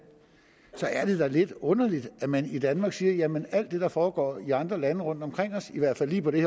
så er det da lidt underligt at man i danmark siger jamen alt det der foregår i andre lande rundtomkring os i hvert fald lige på det